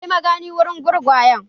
Kai magani wurin gurgayen!